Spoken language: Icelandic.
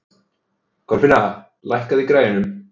Kolfinna, lækkaðu í græjunum.